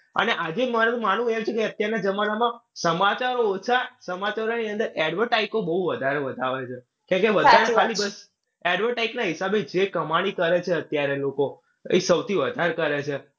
અને આજે મારુ માનવું એમ છે કે અત્યારના જમાનામાં સમાચાર ઓછા સમાચારોની અંદર advertise ઓ બઉ વધારે બતાવે છે. કેમ કે વધારે તો ખાલી advertise ના હિસાબે જે કમાણી કરે છે અત્યારે લોકો. એ સૌથી વધારે કરે છે.